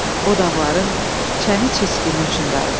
O dağların çəni çiskini üçün darıxdı.